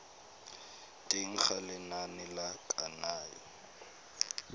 teng ga lenane la kananyo